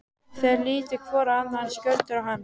Þeir litu hvor á annan, Skjöldur og hann.